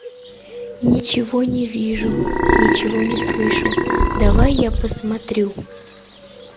ничего не вижу ничего не слышу давай я посмотрю